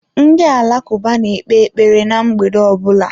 Ndị Alakụba na-ekpe ekpere ná mgbede ọ bụla.